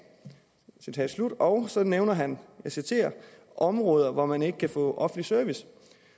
og så nævner han områder hvor man ikke kan få offentlig service